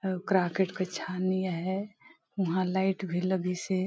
croquet का छानिया है वहां लाइट भी लगी से --